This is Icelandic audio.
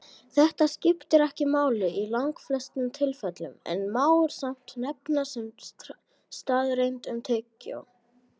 Þetta skiptir ekki máli í langflestum tilfellum en má samt nefna sem staðreynd um tyggjó.